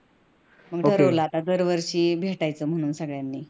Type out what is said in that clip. मग ठरवलं आता दरवर्षी भेटायचं म्हणून सगळ्यांनी